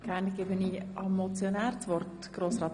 Ich gebe nochmals dem Motionär das Wort.